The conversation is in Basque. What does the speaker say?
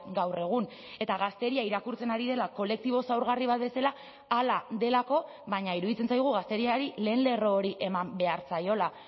gaur egun eta gazteria irakurtzen ari dela kolektibo zaurgarri bat bezala hala delako baina iruditzen zaigu gazteriari lehen lerro hori eman behar zaiola